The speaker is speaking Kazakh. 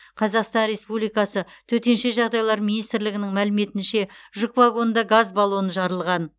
қазақстан республикасы төтенше жағдайлар министрлігінің мәліметінше жүк вагонында газ баллоны жарылған